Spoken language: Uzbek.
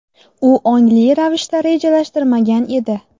U ongli ravishda rejalashtirilmagan edi.